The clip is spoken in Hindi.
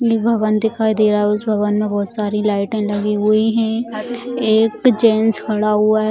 नी भवन दिखाई दे रहा है उस भवन मे बहुत सारी लाइटें लगी हुई हैं एक जेंट्स खड़ा हुआ है।